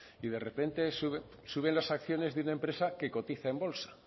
y de repente suben las acciones de una empresa que cotiza en bolsa